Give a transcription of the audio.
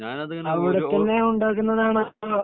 അവിടത്തന്നെ ഉണ്ടാക്കുന്നതാണോ അതോ